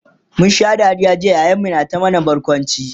mun Sha Dariya jiya yayan mu na ta mana barkwanci